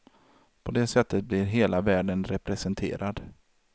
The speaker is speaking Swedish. På det sättet blir hela världen representerad.